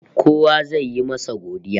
Kowa zai yi masa godiya